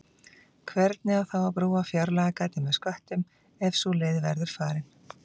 Hvernig á þá að brúa fjárlagagatið með sköttum ef sú leið verður farin?